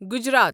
Gujarat